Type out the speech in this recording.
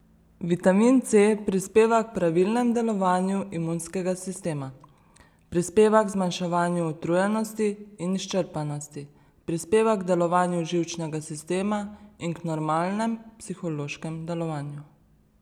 Vitamin C prispeva k pravilnem delovanju imunskega sistema, prispeva k zmanjševanju utrujenosti in izčrpanosti, prispeva k delovanju živčnega sistema in k normalnem psihološkem delovanju.